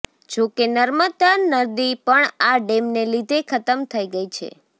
જો કે નર્મદા નદી પણ આ ડેમને લીધે ખતમ થઈ ગઈ છે